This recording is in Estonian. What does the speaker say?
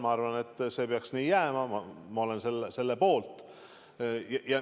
Ma arvan, et see peaks nii jääma, ma olen selle poolt.